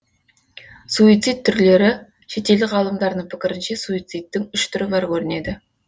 суицид түрлері шетелдік ғалымдардың пікірінше суицидтің үш түрі бар көрінеді